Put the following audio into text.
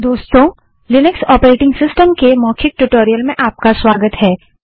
दोस्तों Linux operating system के मौखिक ट्यूटोरियल में आपका स्वागत है